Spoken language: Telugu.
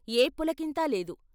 ఏ పులకింతా లేదు.